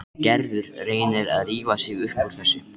Gerður reynir að rífa sig upp úr þessu.